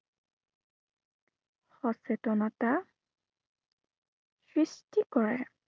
সচেতনতা সৃষ্টি কৰে।